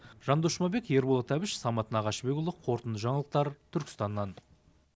жандос жұмабек ерболат әбіш самат нағашыбекұлы қорытынды жаңалықтар түркістаннан